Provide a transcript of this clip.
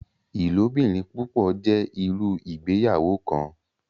Ilobirin-pupọ jẹ iru Ìgbéyàwó kan.